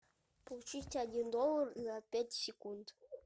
получить один доллар за пять секунд